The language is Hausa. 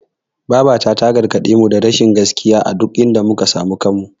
Babata ta gargaɗemu da rashin gaskiya a duk inda muka samu kanmu.